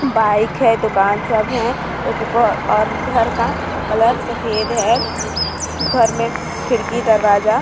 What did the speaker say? bike है दुकान सब है घर का कलर सफेद है घर में खिड़की दरवाजा--